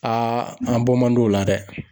an bɔ man d'o la dɛ.